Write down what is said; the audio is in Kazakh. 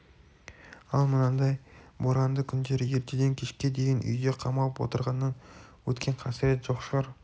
ал мынадай боранды күндері ертеден кешке дейін үйде қамалып отырғаннан өткен қасірет жоқ шығар